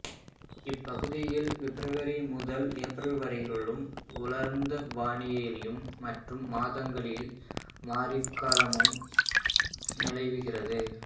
இப்பகுதியில் பெப்ரவரி முதல் ஏப்ரல் வரையிலும் உலரந்த வானிலையும் மற்ற மாதங்களில் மாரிக்காலமும் நிலவுகிறது